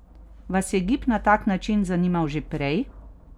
Vas je gib na tak način zanimal že prej?